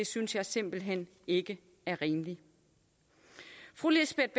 synes jeg simpelt hen ikke er rimeligt fru lisbeth